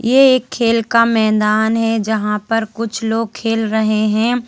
ये एक खेल का मैदान है जहां पर कुछ लोग खेल रहे हैं।